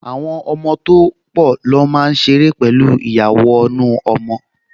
Àwọn ọmọ tó pọ̀ ló máa ṣeré pẹ̀lú ìyàwọnù-ọmọ